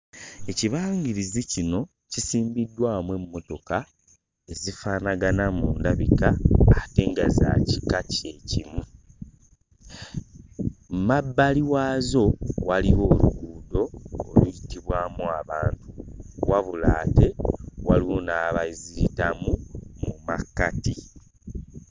Ekibangirizi kino kisimbiddwamu emmotoka ezifaanagana mu ndabika ate nga za kika kye kimu. Mu mabbali waazo waliwo oluguudo oluyitibwamu abantu wabula ate waliwo n'abaziyitamu mu makkati.